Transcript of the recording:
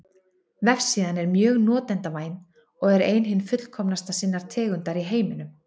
Vefsíðan er mjög notendavæn og er ein hin fullkomnasta sinnar tegundar í heiminum.